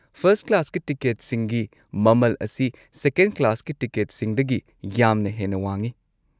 First ꯀ꯭ꯂꯥꯁꯀꯤ ꯇꯤꯀꯦꯠꯁꯤꯡꯒꯤ ꯃꯃꯜ ꯑꯁꯤ ꯁꯦꯀꯦꯟꯗ ꯀ꯭ꯂꯥꯁꯀꯤ ꯇꯤꯀꯦꯠꯁꯤꯡꯗꯒꯤ ꯌꯥꯝꯅ ꯍꯦꯟꯅ ꯋꯥꯡꯉꯤ꯫